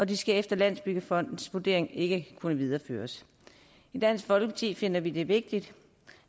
de skal efter landsbyggefondens vurdering ikke kunne videreføres i dansk folkeparti finder vi det vigtigt